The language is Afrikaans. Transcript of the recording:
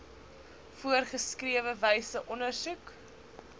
voorgeskrewe wyse ondersoek